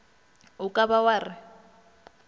o ka ba wa re